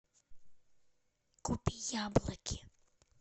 купи яблоки